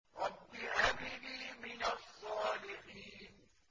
رَبِّ هَبْ لِي مِنَ الصَّالِحِينَ